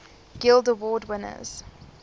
guild award winners